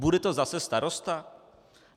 Bude to zase starosta?